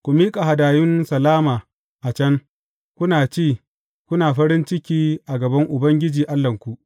Ku miƙa hadayun salama a can, kuna ci, kuna farin ciki a gaban Ubangiji Allahnku.